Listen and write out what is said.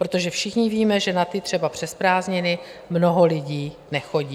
Protože, všichni víme, že na ty třeba přes prázdniny mnoho lidí nechodí.